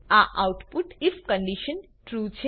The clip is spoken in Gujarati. આ આઉટપુટ આઇએફ કન્ડીશન ટ્રૂ